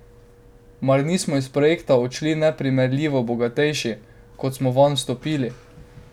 Mar nismo iz projekta odšli neprimerljivo bogatejši, kot smo vanj vstopili?